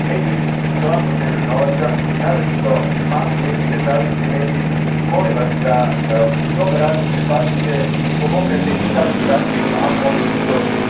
Mediji uglavnom nemaju novaca, naročito mali mediji, nezavisni mediji i molim vas da u svom radu pripazite i pomognete i takvim zahtjevima ako oni budu došli.